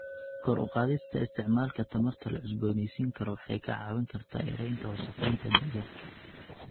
Kor u qaadista isticmaalka tamarta la cusboonaysiin karo waxay ka caawin kartaa yareynta wasakheynta deegaanka.